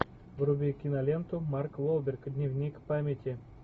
вруби киноленту марк уолберг дневник памяти